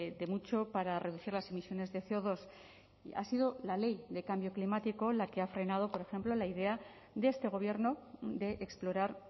de mucho para reducir las emisiones de ce o dos y ha sido la ley de cambio climático la que ha frenado por ejemplo la idea de este gobierno de explorar